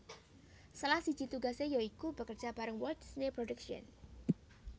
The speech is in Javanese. Salah siji tugasé ya iku bekerja bareng Walt Disney Productions